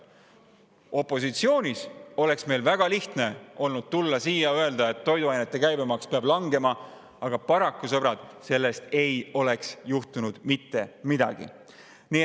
Opositsioonis olles oleks meil väga lihtne olnud tulla siia ja öelda, et toiduainete käibemaks peab langema, aga paraku, sõbrad, sellest ei oleks mitte midagi juhtunud.